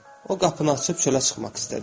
O qapını açıb çölə çıxmaq istədi.